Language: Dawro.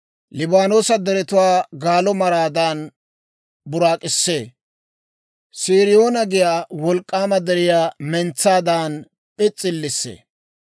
Liibaanoosa deretuwaa galo maraadan buraak'issee; Siriyoona giyaa wolk'k'aama deriyaa Mentsaadan p'is's'illissee.